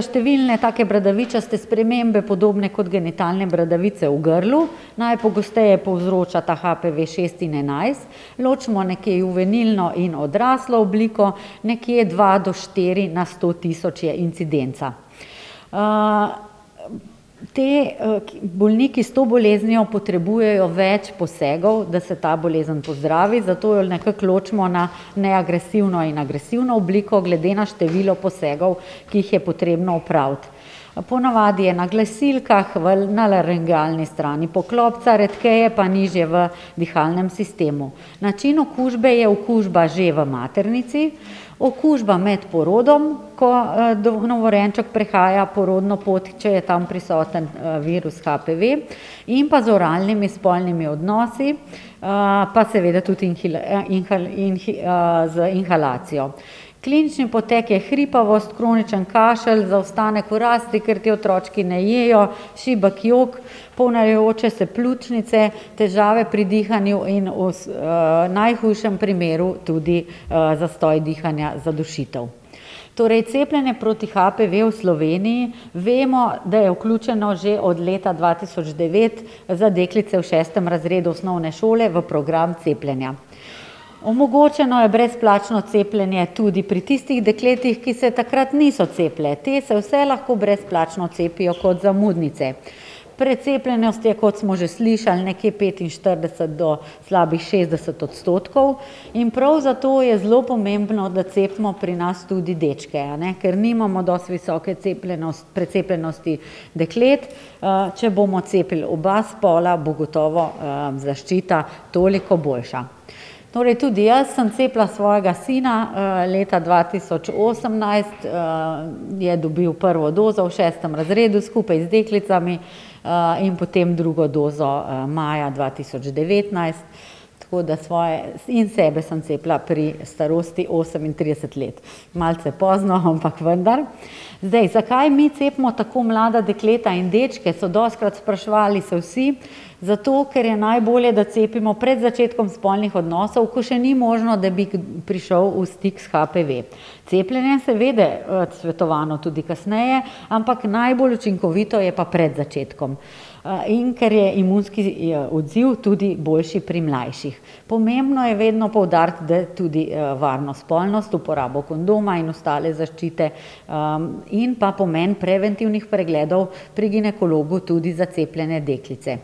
številne take bradavičaste spremembe, podobne kot genitalne bradavice, v grlu. Najpogosteje povzročata HPV-šest in enajst, ločimo nekje juvenilno in odraslo obliko. Nekje dva do štiri na sto tisoč je incidenca. ti, bolniki s to boleznijo potrebujejo več posegov, da se ta bolezen pozdravi, zato jo nekako ločimo na neagresivno in agresivno obliko glede na število posegov, ki jih je potrebno opraviti. Ponavadi je na glasilkah, v, na laringalni strani poklopca, redkeje pa nižje v dihalnem sistemu. Način okužbe je okužba že v maternici, okužba med porodom, ko, novorojenček prehaja porodno pot, če je tam prisoten, virus HPV, in pa z oralnimi spolnimi odnosi, pa seveda tudi z inhalacijo. Klinični potek je hripavost, kronični kašelj, zaostanek v rasti, ker ti otročki ne jejo, šibek jok, ponavljajoče se pljučnice, težave pri dihanju in v najhujšem primeru tudi zastoj dihanja, zadušitev. Torej cepljenje proti HPV v Sloveniji. Vemo, da je vključeno že od leta dva tisoč devet za deklice v šestem razredu osnovne šole v program cepljenja. Omogočeno je brezplačno cepljenje tudi pri tistih dekletih, ki se takrat niso cepile. Te se vse lahko brezplačno cepijo kot zamudnice. Precepljenost je, kot smo že slišali, nekje petinštirideset do slabih šestdeset odstotkov in prav zato je zelo pomembno, da cepimo pri nas tudi dečke, a ne, ker nimamo dosti visoke precepljenosti deklet. če bomo cepili oba spola, bo gotovo, zaščita toliko boljša. Torej tudi jaz sem cepila svojega sina, leta dva tisoč osemnajst, je dobil prvo dozo, v šestem razredu skupaj z deklicami, in potem drugo dozo, maja dva tisoč devetnajst, tako da svoje in sebe sem cepila pri starosti osemintrideset let. Malce pozno, ampak vendar. Zdaj, zakaj mi cepimo tako mlada dekleta in dečke, so dostikrat spraševali se vsi. Zato, ker je najbolje, da cepimo pred začetkom spolnih odnosov, ko še ni možno, da bi prišel v stik s HPV. Cepljenje je seveda, svetovano tudi kasneje, ampak najbolj učinkovito je pa pred začetkom. in ker je imunski odziv tudi boljši pri mlajših. Pomembno je vedno poudariti, tudi varno spolnost, uporabo kondoma in ostale zaščite, in pa pomen preventivnih pregledov pri ginekologu tudi za cepljene deklice.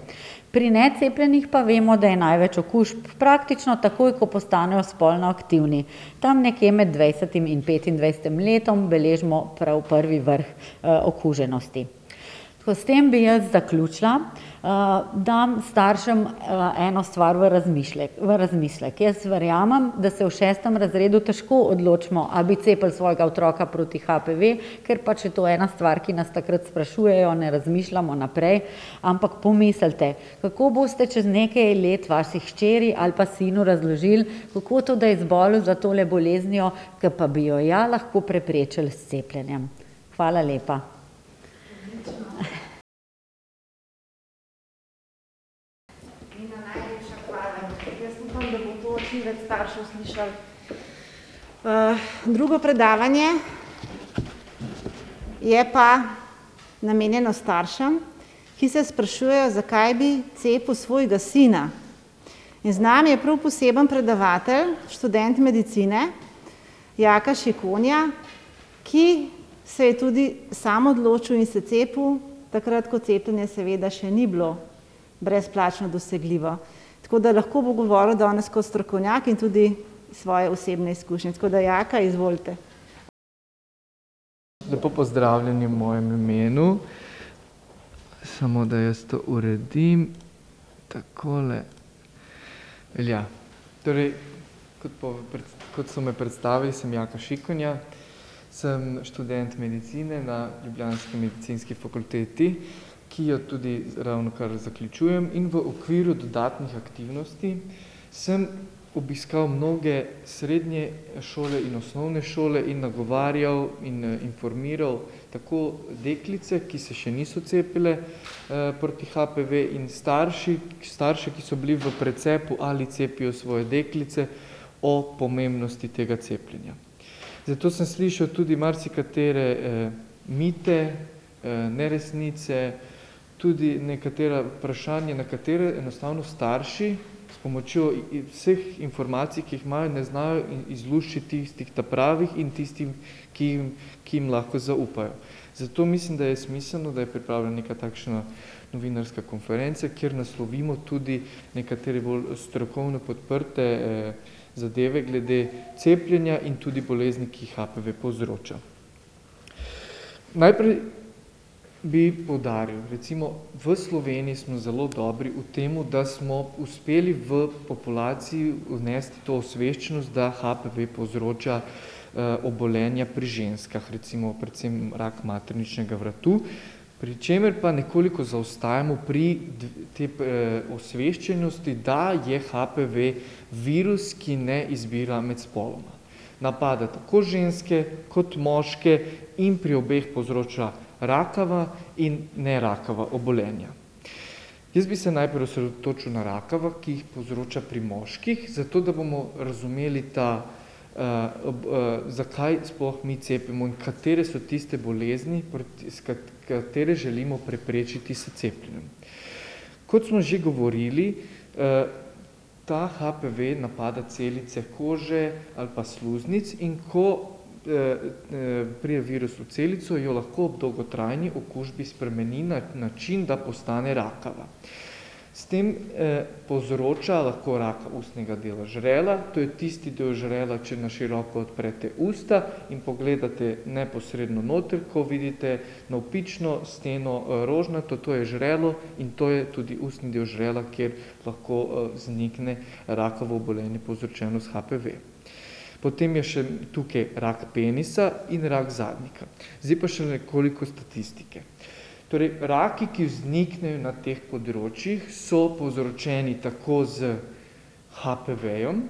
Pri necepljenih pa vemo, da je največ okužb praktično takoj, ko postanejo spolno aktivni. Tam nekje med dvajsetim in petindvajsetim letom beležimo prav prvi vrh, okuženosti. Tako, s tem bi jaz zaključila. dam staršem, eno stvar v v razmislek. Jaz verjamem, da se v šestem razredu težko odločimo, a bi cepili svojega otroka proti HPV, ker pač je to ena stvar, ki nas takrat sprašujejo, ne razmišljamo naprej. Ampak pomislite. Kako boste čez nekaj let vaši hčeri ali pa sinu razložili, kako to, da je zbolel za tole boleznijo, ko pa bi jo ja lahko preprečili s cepljenjem. Hvala lepa. Odlično. Nina, najlepša hvala. Jaz upam, da bo to čim več staršev slišalo. drugo predavanje je pa namenjeno staršem, ki se sprašujejo, zakaj bi cepil svojega sina. In z nami je prav poseben predavatelj, študent medicine, Jaka Šikonja, ki se je tudi sam odločil in se cepil takrat, ko cepljenje seveda še ni bilo brezplačno dosegljivo. Tako da lahko bo govoril danes kot strokovnjak in tudi iz svoje osebne izkušnje. Tako da Jaka, izvolite. Lepo pozdravljeni v mojem imenu. Samo, da jaz to uredim. Takole. Velja. Torej, kot kot so me predstavili, sem Jaka Šikonja, sem študent medicine na ljubljanski medicinski fakulteti, ki jo tudi ravnokar zaključujem. In v okviru dodatnih aktivnosti sem obiskal mnoge srednje šole in osnovne šole in nagovarjal in informiral tako deklice, ki se še niso cepile, proti HPV, in starši, starše, ki so bili v precepu, ali cepijo svoje deklice, o pomembnosti tega cepljenja. Zdaj, tu sem slišal tudi marsikatere, mite, neresnice, tudi nekatera vprašanja, na katere enostavno starši s pomočjo vseh informacij, ki jih imajo, ne znajo izluščiti tistih ta pravih in tistih, ki, ki jim lahko zaupajo. Zato mislim, da je smiselno, da je pripravljena neka takšna novinarska konferenca, kjer naslovimo tudi nekatere bolj strokovno podprte, zadeve glede cepljenja in tudi bolezni, ki jih HPV povzroča. Najprej bi poudaril. Recimo v Sloveniji smo zelo dobri v tem, da smo uspeli v populaciji vnesti to osveščenost, da HPV povzroča, obolenja pri ženskah, recimo predvsem rak materničnega vratu, pri čemer pa nekoliko zaostajamo pri te, osveščenosti, da je HPV virus, ki ne izbira med spoloma. Napada tako ženske kot moške in pri obeh povzroča rakava in nerakava obolenja. Jaz bi se najprej osredotočil na rakava, ki jih povzroča pri moških, zato, da bomo razumeli ta, zakaj sploh mi cepimo in katere so tiste bolezni proti, s katere želimo preprečiti s cepljenjem. Kot smo že govorili, ta HPV napade celice kože ali pa sluznic, in ko, pride virus v celico, jo lahko ob dolgotrajni okužbi spremeni na način, da postane rakava. S tem, povzroča lahko raka ustnega dela žrela, to je tisti del žrela, če na široko odprete usta in pogledate neposredno noter, kot vidite navpično steno, rožnato, to je žrelo in to je tudi ustni del žrela, kjer lahko, vznikne rakavo obolenje, povzročeno s HPV. Potem je še tukaj rak penisa in rak zadnjika. Zdaj pa še nekoliko statistike. Torej, raki, ki vzniknejo na teh področjih, so povzročeni tako s HPV-jem,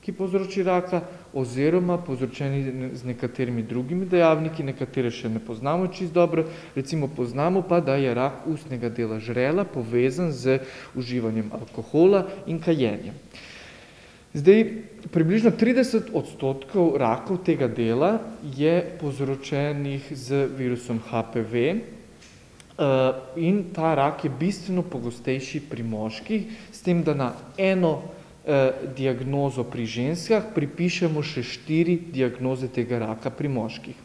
ki povzroči raka, oziroma povzročeni z nekaterimi drugimi dejavniki, nekatere še ne poznamo čisto dobro. Recimo poznamo pa, da je rak ustnega dela žrela povezan z uživanjem alkohola in kajenjem. Zdaj, približno trideset odstotkov rakov tega dela je povzročenih z virusom HPV, in ta rak je bistveno pogostejši pri moških. S tem, da na eno, diagnozo pri ženskah pripišemo še štiri diagnoze tega raka pri moških.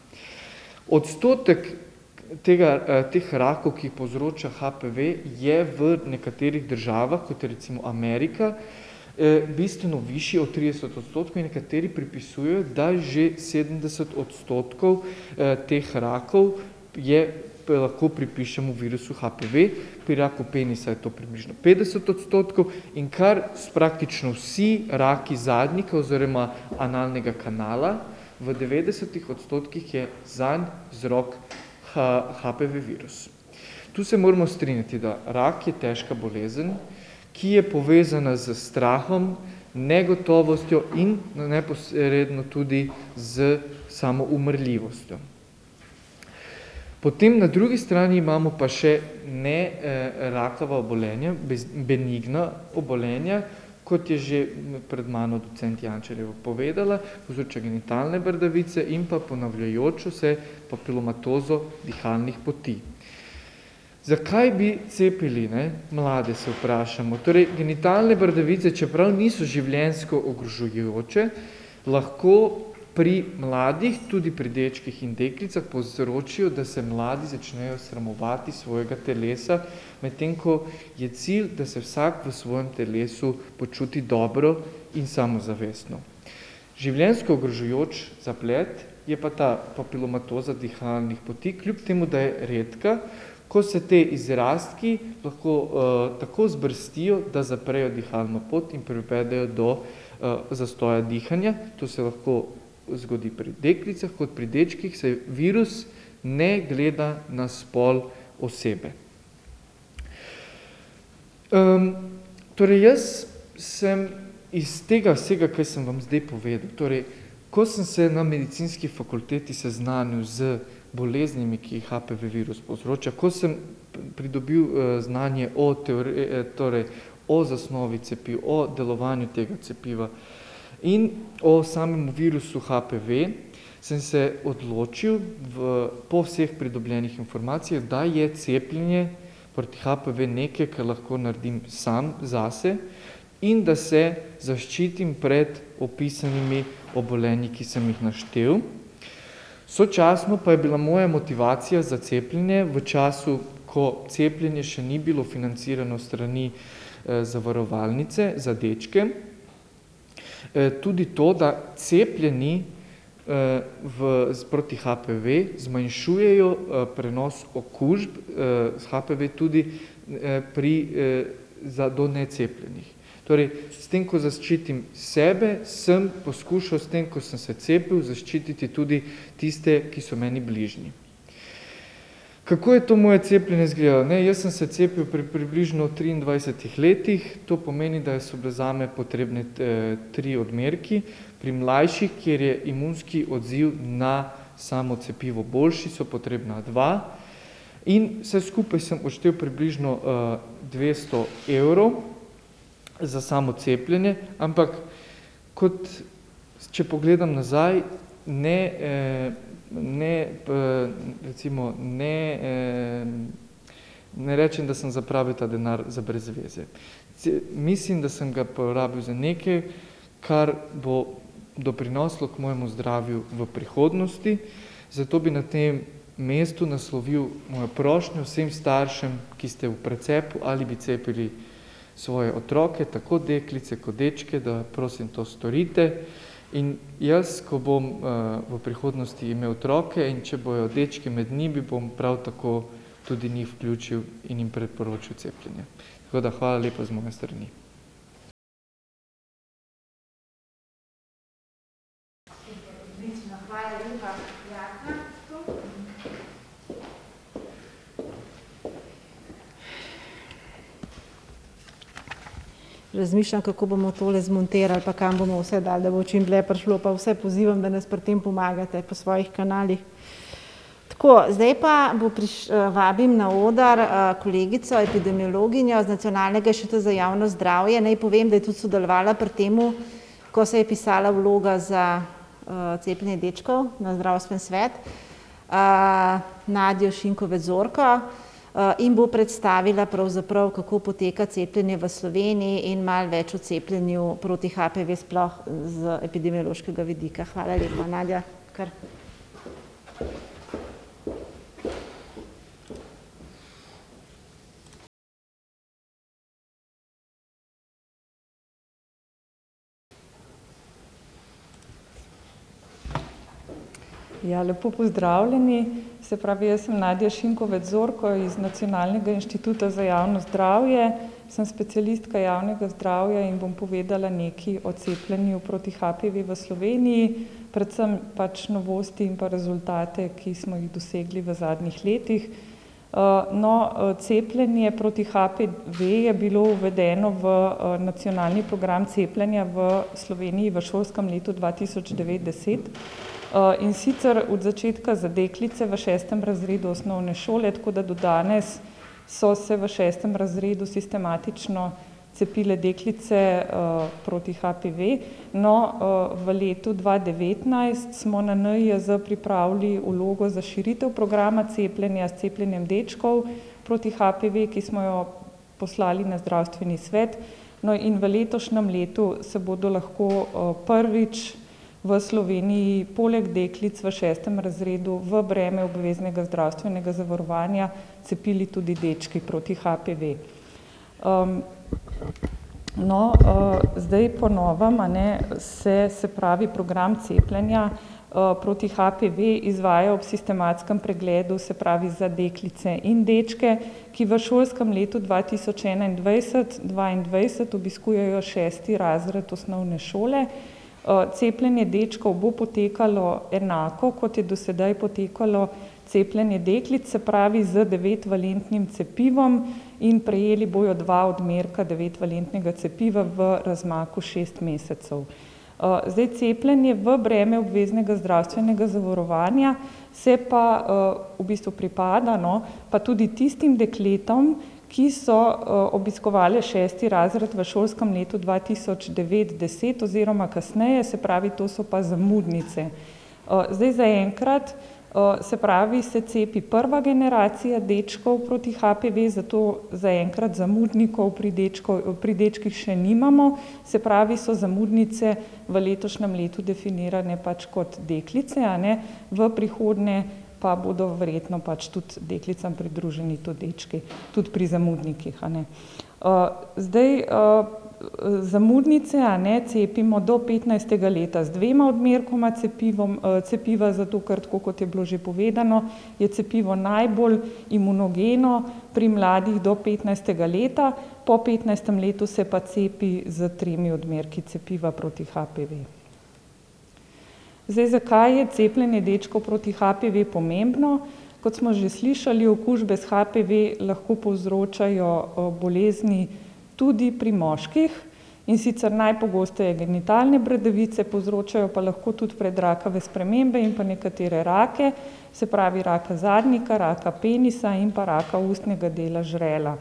Odstotek tega, teh rakov, ki jih povzroča HPV, je v nekaterih državah, kot je recimo Amerika, bistveno višji od trideset odstotkov in nekateri pripisujejo, da je že sedemdeset odstotkov, teh rakov je, lahko pripišemo virusu HPV. Pri raku penisa je to približno petdeset odstotkov in kar praktično vsi raki zadnjika oziroma analnega kanala, v devetdesetih odstotkih je zanj vzrok HPV-virus. Tu se moramo strinjati, da rak je težka bolezen, ki je povezana s strahom, negotovostjo in neposredno tudi s samo umrljivostjo. Potem na drugi strani imamo pa še rakava obolenja, v bistvu benigna obolenja, kot je že pred mano docent Jančarjeva povedala, povzroča genitalne bradavice in pa ponavljajočo se papilomatozo dihalnih poti. Zakaj bi cepili, ne, mlade, se vprašamo. Torej, genitalne bradavice, čeprav niso življenjsko ogrožajoče, lahko pri mladih, tudi pri dečkih in deklicah, povzročijo, da se mladi začnejo sramovati svojega telesa, medtem ko je cilj, da se vsak v svojem telesu počuti dobro in samozavestno. Življenjsko ogrožajoč zaplet je pa ta papilomatoza dihalnih poti, kljub temu da je redka. Ko se ti izrastki lahko, tako vzbrstijo, da zaprejo dihalno pot in privedejo do, zastoja dihanja. To se lahko zgodi pri deklicah kot pri dečkih, saj virus ne gleda na pol osebe. Torej jaz sem iz tega vsega, kaj sem vam zdaj povedal, torej ko sem se na medicinski fakulteti seznanil z boleznimi, ki jih HPV-virus povzroča, ko sem pridobil, znanje o torej o zasnovi cepiv, o delovanju tega cepiva in o samem virusu HPV, sem se odločil v, po vseh pridobljenih informacijah, da je cepljenje proti HPV nekaj, kar lahko naredim sam zase in da se zaščitim pred opisanimi obolenji, ki sem jih naštel. Sočasno pa je bila moja motivacija za cepljenje v času, ko cepljenje še ni bilo financirano s strani, zavarovalnice, za dečke, tudi to, da cepljeni, v proti HPV zmanjšujejo, prenos okužb, s HPV tudi, pri, za do necepljenih. Torej, s tem, ko zaščitim sebe, sem poskušal s tem, ko sem se cepil, zaščititi tudi tiste, ki so meni bližnji. Kako je to moje cepljenje izgledalo? Ne, jaz sem se cepil pri približno triindvajsetih letih. To pomeni, da so bili zame potrebni trije odmerki. Pri mlajših, kjer je imunski odziv na samo cepivo boljši, sta potrebna dva. In vse skupaj sem odštel približno, dvesto evrov za samo cepljenje. Ampak kot, če pogledam nazaj, ne, ne, recimo, ne, ne rečem, da sem zapravil ta denar za brez veze. mislim, da sem ga porabili za nekaj, kar bo doprineslo k mojemu zdravju v prihodnosti. Zato bi na tem mestu naslovil mojo prošnjo vsem staršem, ki ste v precepu, ali bi cepili svoje otroke, tako deklice kot dečke, da, prosim, to storite in jaz, ko bom, v prihodnosti imel otroke, in če bojo dečki med njimi, bom prav tako tudi njih vključil in jim priporočil cepljenje. Tako da hvala lepa z moje strani. Super, odlično. Hvala lepa Jaku. Razmišljam, kako bomo tole zmontirali pa kam bomo vse dali, da bo čim dlje prišlo, pa vse pozivam, da nas pri tem pomagate po svojih kanalih. Tako, zdaj pa bo vabim na oder, kolegico epidemiologinjo z Nacionalnega inštituta za javno zdravje. Naj povem, da je tudi sodelovala pri tem, ko se je pisala vloga za, cepljenje dečkov na zdravstveni svet. Nadjo Šinkovec Zorko, in bo predstavila pravzaprav, kako poteka cepljenje v Sloveniji in malo več o cepljenju proti HPV sploh z epidemiološkega vidika. Hvala lepa. Nadja, kar. Ja, lepo pozdravljeni. Se pravi, jaz sem Nadja Šinkovec Zorko iz Nacionalnega inštituta za javno zdravje, sem specialistka javnega zdravja in bom povedala nekaj o cepljenju proti HPV v Sloveniji, predvsem pač novosti in pa rezultate, ki smo jih dosegli v zadnjih letih. no, cepljenje proti HPV je bilo uvedeno v, nacionalni program cepljenja v Sloveniji v šolskem letu dva tisoč devet-deset, in sicer od začetka za deklice v šestem razredu osnovne šole, tako da do danes so se v šestem razredu sistematično cepile deklice, proti HPV. No, v letu dva devetnajst smo na NIJZ pripravili vlogo za širitev programa cepljenja s cepljenjem dečkov proti HPV, ki smo jo poslali na zdravstveni svet. No, in v letošnjem letu se bodo lahko, prvič v Sloveniji poleg deklic v šestem razredu v breme obveznega zdravstvenega zavarovanja cepili tudi dečki proti HPV. no, zdaj po novem, a ne, se, se pravi, program cepljenja, proti HPV izvaja ob sistematskem pregledu, se pravi za deklice in dečke, ki v šolskem letu dva tisoč enaindvajset-dvaindvajset obiskujejo šesti razred osnovne šole. cepljenje dečkov bo potekalo enako, kot je do sedaj potekalo cepljenje deklic, se pravi z devetvalentnim cepivom, in prejeli bojo dva odmerka devetvalentnega cepiva v razmaku šest mesecev. zdaj, cepljenje v breme obveznega zdravstvenega zavarovanja se pa, v bistvu pripada, no, pa tudi tistim dekletom, ki so, obiskovale šesti razred v šolskem letu dva tisoč devet-deset oziroma kasneje, se pravi to so pa zamudnice. zdaj zaenkrat, se pravi, se cepi prva generacija dečkov proti HPV, zato zaenkrat zamudnikov pri pri dečkih še nimamo. Se pravi, so zamudnice v letošnjem letu definirane pač kot deklice, a ne, v prihodnje pa bodo verjetno pač tudi deklicam pridruženi tudi dečki. Tudi pri zamudnikih, a ne. zdaj, zamudnice, a ne, cepimo do petnajstega leta z dvema odmerkoma cepivom, cepiva, zato ker, tako kot je bilo že povedano, je cepivo najbolj imunogeno pri mladih do petnajstega leta, po petnajstem letu se pa cepi s tremi odmerki cepiva proti HPV. Zdaj, zakaj je cepljenje dečkov proti HPV pomembno? Kot smo že slišali, okužbe s HPV lahko povzročajo, bolezni tudi pri moških, in sicer najpogosteje genitalne bradavice, povzročajo pa lahko tudi predrakave spremembe in pa nekatere rake, se pravi raka zadnjika, raka penisa in pa raka ustnega dela žrela.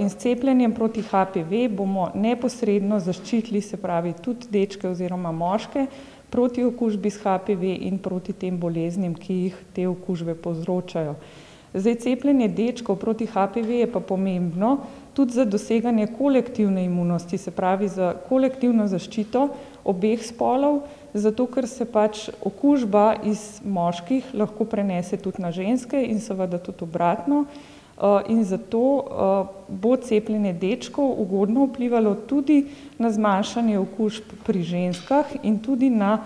in s cepljenjem proti HPV bomo neposredno zaščitili, se pravi, tudi dečke oziroma moške proti okužbi s HPV in proti tem boleznim, ki jih te okužbe povzročajo. Zdaj, cepljenje dečkov proti HPV je pa pomembno tudi za doseganje kolektivne imunosti, se pravi za kolektivno zaščito obeh spolov, zato ker se pač okužba iz moških lahko prenese tudi na ženske in seveda tudi obratno. in zato, bo cepljenje dečkov ugodno vplivalo tudi na zmanjšanje okužb pri ženskah in tudi na,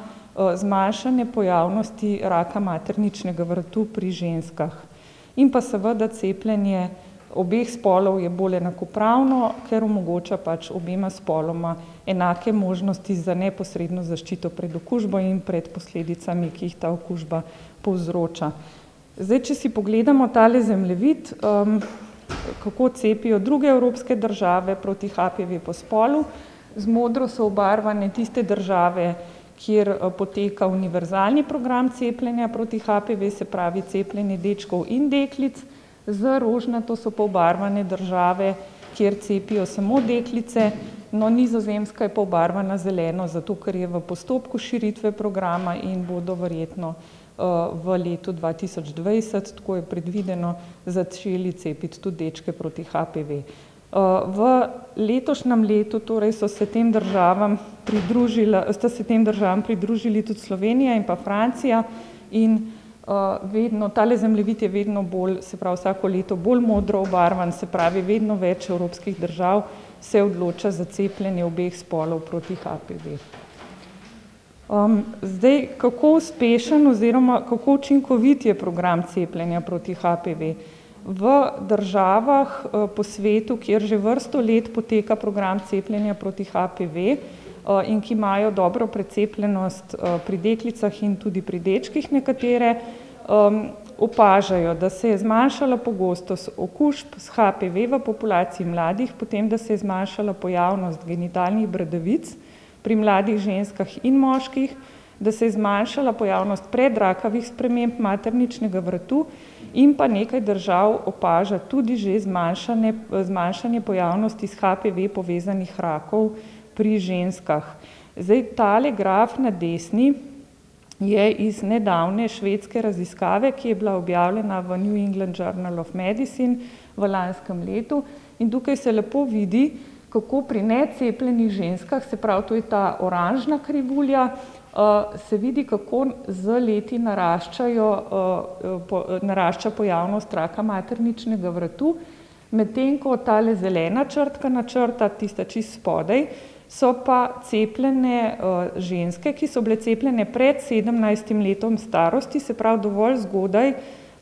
zmanjšanje pojavnosti raka materničnega vratu pri ženskah. In pa seveda cepljenje obeh spolov je bolj enakopravno, ker omogoča pač obema spoloma enake možnosti za neposredno zaščito pred okužbo in pred posledicami, ki jih ta okužba povzroča. Zdaj, če si pogledamo tale zemljevid, kako cepijo druge evropske države proti HPV po spolu. Z modro so obarvane tiste države, kjer poteka univerzalni program cepljenja proti HPV, se pravi cepljenje dečkov in deklic, z rožnato so pa obarvane države, kjer cepijo samo deklice. No, Nizozemska je pa obarvana z zeleno, zato ker je v postopku širitve programa in bodo verjetno, v letu dva tisoč dvajset, tako je predvideno, začeli cepiti tudi dečke proti HPV. v letošnjem letu torej so se tem državam sta se tem državam pridružili tudi Slovenija in pa Francija in, vedno, tale zemljevid je vedno bolj, se pravi vsako leto bolj modro obarvan, se pravi vedno več evropskih držav se odloča za cepljenje obeh spolov proti HPV. zdaj, kako uspešen oziroma kako učinkovit je program cepljenja proti HPV? V državah, po svetu, kjer že vrsto let poteka program cepljenja proti HPV, in ki imajo dobro precepljenost, pri deklicah in tudi pri dečkih nekatere, opažajo, da se je zmanjšala pogostost okužb s HPV v populaciji mladih, potem, da se je zmanjšala pojavnost genitalnih bradavic pri mladih ženskah in moških, da se je zmanjšala pojavnost predrakavih sprememb materničnega vratu, in pa nekaj držav opaža tudi že zmanjšanje pojavnosti s HPV povezanih rakov pri ženskah. Zdaj, tale graf na desni je iz nedavne švedske raziskave, ki je bila objavljena v New England Journal of Medicine v lanskem letu, in tukaj se lepo vidi, kako pri necepljenih ženskah, se pravi, to je ta oranžna krivulja, se vidi, kako z leti naraščajo, narašča pojavnost raka materničnega vrtu, medtem ko tale zelena črtkana črta, tista čisto spodaj, so pa cepljene, ženske, ki so bile cepljene pred sedemnajstim letom starosti, se pravi dovolj zgodaj,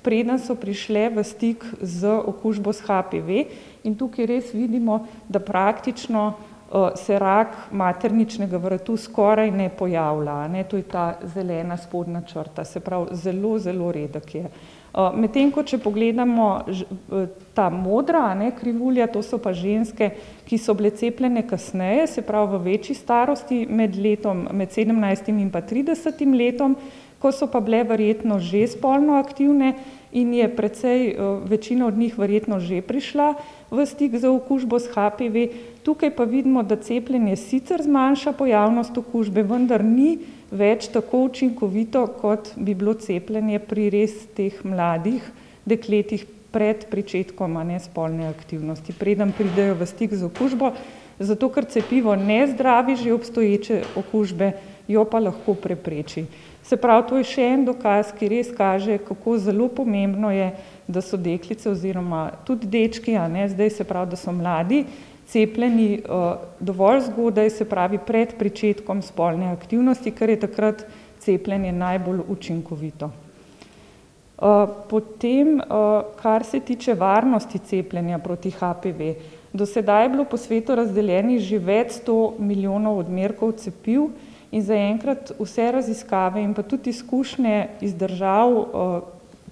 preden so prišle v stik z okužbo s HPV. In tukaj res vidimo, da praktično, se rak materničnega vratu skoraj ne pojavlja, a ne. To je ta zelena spodnja črta. Se pravi, zelo, zelo redek je. medtem ko, če pogledamo ta modra, a ne, krivulja, to so pa ženske, ki so bile cepljene kasneje, se pravi v večji starosti, med letom, med sedemnajstim in pa tridesetim letom, ko so pa bile verjetno že spolno aktivne in je precej, večina od njih verjetno že prišla v stik z okužbo s HPV, tukaj pa vidimo, da cepljenje sicer zmanjša pojavnost okužbe, vendar ni več tako učinkovito, kot bi bilo cepljenje pri res teh mladih dekletih pred pričetkom, a ne, spolne aktivnosti, preden pridejo v stik z okužbo, zato ker cepivo ne zdravi že obstoječe okužbe, jo pa lahko prepreči. Se pravi, to je še en dokaz, ki res kaže, kako zelo pomembno je, da so deklice oziroma tudi dečki, a ne, zdaj, se pravi, da so mladi cepljeni, dovolj zgodaj, se pravi pred pričetkom spolne aktivnosti, ker je takrat cepljenje najbolj učinkovito. potem, kar se tiče varnosti cepljenja proti HPV, do sedaj je bilo po svetu razdeljenih že več sto milijonov odmerkov cepiv in zaenkrat vse raziskave in pa tudi izkušnje iz držav,